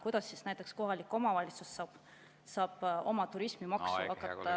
Kuidas siis näiteks kohalik omavalitsus saab oma turismimaksu hakata kehtestama?